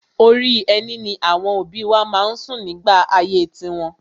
Orí ẹní ni àwọn òbí wa má ń sùn nígbà ayé tiwọn.